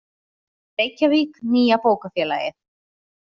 Reykjavík, Nýja bókafélagið.